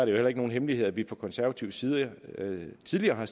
jo heller ikke nogen hemmelighed at vi fra konservativ side tidligere har